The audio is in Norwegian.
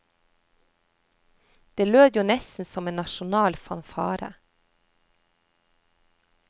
Det lød jo nesten som en nasjonal fanfare.